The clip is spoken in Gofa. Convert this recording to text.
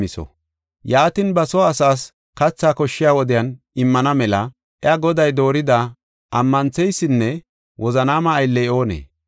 “Yaatin, ba soo asaas kathaa koshshiya wodiyan immana mela iya goday doorida ammantheysinne wozanaama aylley oonee?